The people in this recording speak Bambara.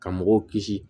Ka mɔgɔw kisi